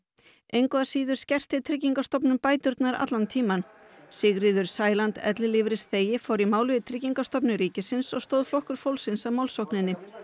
engu að síður skerti Tryggingastofnun bæturnar allan tímann Sigríður Sæland ellilífeyrisþegi fór í mál við Tryggingastofnun ríkisins og stóð Flokkur fólksins að málsókninni